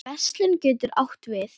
Verslun getur átt við